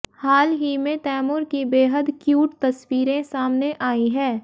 हाल ही में तैमूर की बेहद क्यूट तस्वीरें सामने आईं हैं